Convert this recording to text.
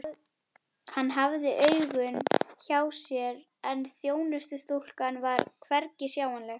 Hann hafði augun hjá sér en þjónustustúlkan var hvergi sjáanleg.